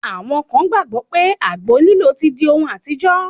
Àwọn kan gbàgbọ́ pé àgbo lílò ti di ohun àtijọ́.